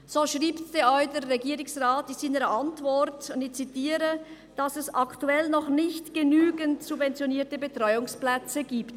So schreibt der Regierungsrat in seiner Antwort denn auch – ich zitiere –,dass es «aktuell noch nicht genügend subventionierte Betreuungsplätze» gibt.